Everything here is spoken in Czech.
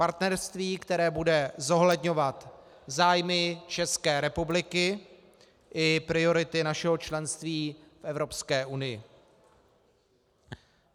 Partnerství, které bude zohledňovat zájmy České republiky i priority našeho členství v Evropské unii.